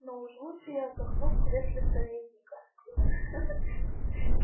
но уж лучше я отдохну в кресле советника ха-ха